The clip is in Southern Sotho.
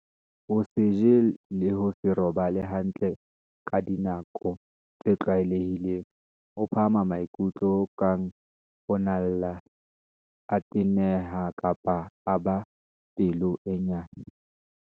Ho se je le ho se robale hantle ka dinako tse tlwae lehileng. Ho phahama maikutlo ho kang ho nna a lla, a teneha kapa a ba pelo e nyane.